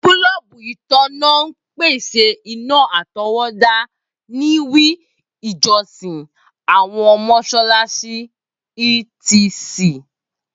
Boolubu itanna n pese ina atọwọda ni we ijọsin, awọn mọṣalaṣi e.t.c.